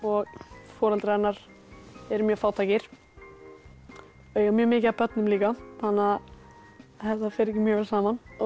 foreldrar hennar eru mjög fátækir eiga mjög mikið af börnum líka þetta fer ekki mjög vel saman